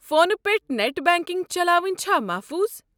فونہٕ پٮ۪ٹھٕ net banking چلاوٕنۍ چھا محفوٗظ؟